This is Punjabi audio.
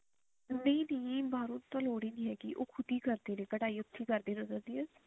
ਨਹੀਂ ਨਹੀਂ ਬਾਹਰੋਂ ਤਾਂ ਲੋੜ ਹੀ ਨੀ ਹੈਗੀ ਉਹ ਖੁਦ ਹੀ ਕਰਦੇ ਨੇ ਕਢਾਈ ਅੱਛੀ ਕਰਦੇ ਨੇ ਵਧੀਆ